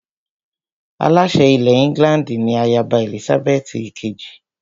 Aláṣẹ ilẹ̀ England ni ayaba Èlísábẹ́ẹ́tì ìkejì